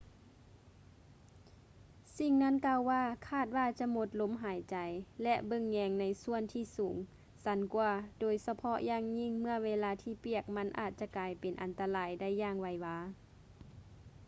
ສິ່ງນັ້ນກ່າວວ່າ ຄາດວ່າຈະໝົດລົມຫາຍໃຈ ແລະ ເບິ່ງແຍງໃນສ່ວນທີ່ສູງຊັນກວ່າ ໂດຍສະເພາະຢ່າງຍິ່ງເມື່ອເວລາທີ່ປຽກມັນອາດຈະກາຍເປັນອັນຕະລາຍໄດ້ຢ່າງໄວວາ